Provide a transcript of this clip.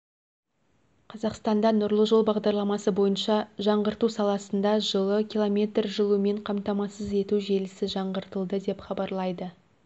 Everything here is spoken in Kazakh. қазақстанда нұрлы жол бағдарламасы бойынша жаңғырту саласында жылы километр жылумен қамтамасыз ету желісі жаңғыртылды деп хабарлайды